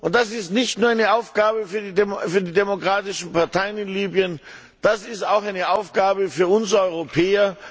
Das ist nicht nur eine Aufgabe für die demokratischen Parteien in Libyen, das ist auch eine Aufgabe für uns Europäer.